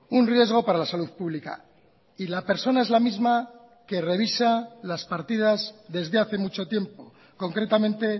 un riesgo para la salud pública y la persona es la misma que revisa las partidas desde hace mucho tiempo concretamente